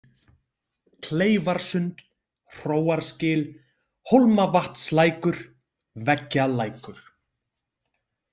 Kleifarsund, Hróarsgil, Hólmavatnslækur, Veggjalækur